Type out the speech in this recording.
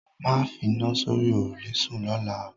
Máa fina sórí òrùlé sún lọ́la o